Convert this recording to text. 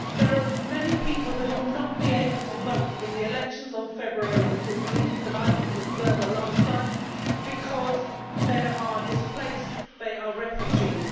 There are many people who will not be able to vote in the elections on 14 February I was an observer last time because they are displaced, they are refugees.